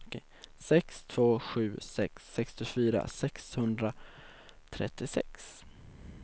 sex två sju sex sextiofyra sexhundratrettiosex